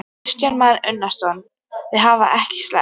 Kristján Már Unnarsson: Þau hafa ekki selst?